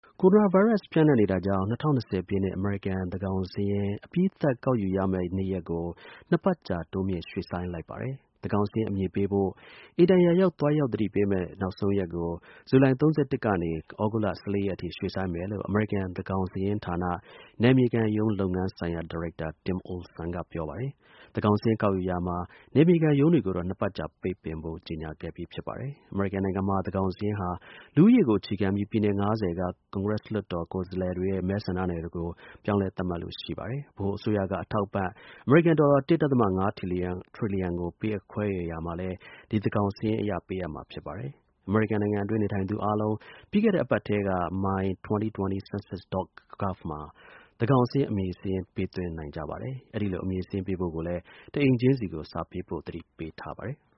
ကိုရိုနာဗိုင်းရပ်စ် ပျံ့နှံ့နေတာကြောင့် ၂၀၂၀ ပြည့်နှစ် အမေရိကန် သန်းခေါင်စာရင်း အပြီးသတ် ကောက်ယူရမယ့် နေ့ရက်ကို ၂ ပတ်ကြာ တိုးမြှင့် ရေ့ွှ့ဆိုင်းလိုက်ပါတယ်။ သန်းခေါင်စာရင်း အမည်ပေးဖို့ အိမ်တိုင်ရာရောက် သွားရောက်သတိပေးမယ့် နောက်ဆုံးရက်ကို ဇူလိုင် ၃၁ ရက်က သြဂုတ်လ ၁၄ ရက်အထိ ရွှေ့ဆိုင်းမယ်လို့ အမေရိကန် သန်းခေါင်စာရင်းဌာန နယ်မြေခံရုံး လုပ်ငန်းဆိုင်ရာ ဒါရိုက်တာ Tim Olson က ပြောပါတယ်။ သန်းခေါင်စာရင်း ကောက်ယူရာ နယ်မြေခံရုံးတွေကိုတော့ ၂ ပတ်ကြာ ပိတ်ပင်ဖို့ ကြေညာခဲ့ပြီး ဖြစ်ပါတယ်။ အမေရိကန်နိုင်ငံမှာ သန်းခေါင်စာရင်းက လူဦးရေကို အခြေခံပြီး ပြည်နယ် ၅၀ က ကွန်ဂရက်လွှတ်တော် ကိုယ်စားလှယ်တွေရဲ့ မဲဆန္ဒနယ်တွေကို ပြောင်းလဲ သတ်မှတ်လေ့ ရှိပါတယ်။ ဗဟိုအစိုးရက အထောက်အပံ့ အမေရိကန်ဒေါ်လာ ၁.၅ ထရီလီယံကို ခွဲဝေပေးအပ်ရာမှာလည်း ဒီ သန်းခေါင်စာရင်းအရ ပေးအပ်မှာ ဖြစ်ပါတယ်။ အမေရိကန်နိုင်ငံအတွင်း နေထိုင်သူအားလုံး ပြီးခဲ့တဲ့အပတ်ထဲက my2020census.gov မှာ သန်းခေါင်စာရင်း အမည်စာရင်း ပေးသွင်းနိုင်ကြပါတယ်။ အဲဒီလို အမည်စာရင်းပေးဖို့လည်း တအိမ်ချင်းစီကို စာပေးဖို့ သတိပေးထားပါတယ်။